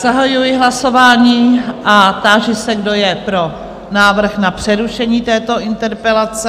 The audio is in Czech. Zahajuji hlasování a táži se, kdo je pro návrh na přerušení této interpelace?